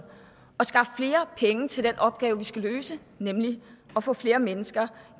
at skaffe flere penge til den opgave vi skal løse nemlig at få flere mennesker